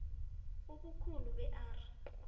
ubukhulu be r